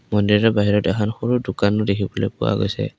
মন্দিৰৰ বাহিৰত এখন সৰু দুখনো দেখিবলৈ পোৱা গৈছে।